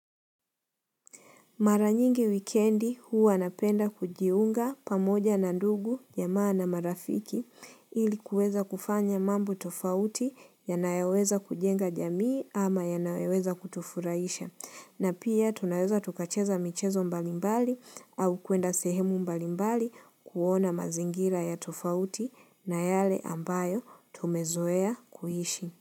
Mara nyingi wikendi huwa napenda kujiunga pamoja na ndugu jamaa na marafiki ilikuweza kufanya mambo tofauti yanayoweza kujenga jamii ama yanayoweza kutufuraisha. Na pia tunaweza tukacheza michezo mbalimbali au kuenda sehemu mbalimbali kuona mazingira ya tofauti na yale ambayo tumezoea kuishi.